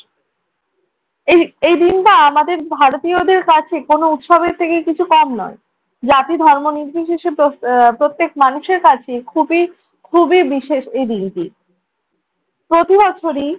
এই~ এই দিনটা আমাদের ভারতীয়দের কাছে কোন উৎসবের থেকে কিছু কম নয়। জাতি ধর্ম নির্বিশেষে প্র~ আহ প্রত্যেক মানুষের কাছেই খুবই~ খুবই বিশেষ এই দিনটি। প্রতি বছরই